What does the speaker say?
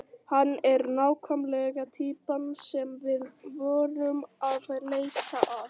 Hann er nákvæmlega týpan sem við vorum að leita að.